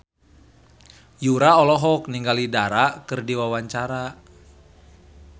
Yura olohok ningali Dara keur diwawancara